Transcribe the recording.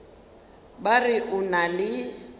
ba re o na le